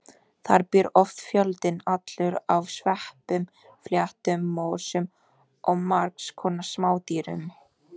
Þar býr oft fjöldinn allur af sveppum, fléttum, mosum og margs konar smádýrum.